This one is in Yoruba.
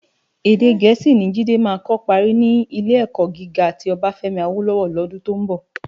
Èdè Gẹẹsi ni Jide má kò pári ni Ilé-èkò gigá ti Obafemi Awolowo lòdún tó n bò.